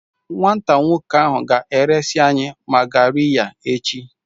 Nwata nwoke ahụ ga-eresị anyị magariya echi.